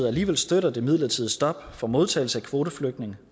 alligevel støtter det midlertidige stop for modtagelse af kvoteflygtninge